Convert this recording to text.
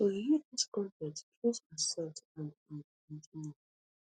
to view dis con ten t choose accept and and continue